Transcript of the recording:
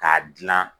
K'a dilan